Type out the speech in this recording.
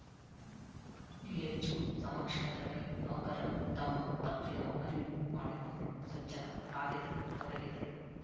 DHO ಸಮಕ್ಷಮದಲ್ಲಿ ನೌಕರರು ತಮ್ಮ ತಪ್ಪಿನ ಅರಿವು ಮಾಡಿಕೊಂಡು ಸ್ವಚ್ಚತಾ ಕಾರ್ಯದಲ್ಲಿ ತೊಡಗಿದ್ದರು